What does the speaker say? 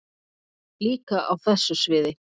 Líka á þessu sviði.